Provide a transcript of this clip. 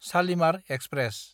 Shalimar express